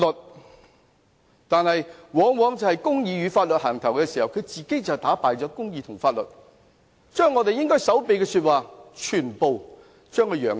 他們往往打着公義與法律的旗號，自己卻打敗公義和法律，將我們應該守秘的說話全部宣揚出去。